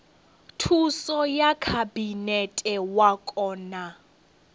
thuso ya khabinete wa kona